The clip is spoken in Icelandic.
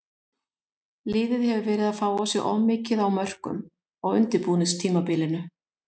Liðið hefur verið að fá á sig of mikið á mörkum á undirbúningstímabilinu.